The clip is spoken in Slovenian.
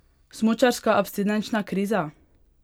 Smučarska abstinenčna kriza?